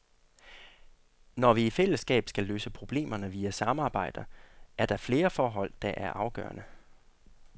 Når vi i fællesskab skal løse problemerne via samarbejde, er der flere forhold, der er afgørende.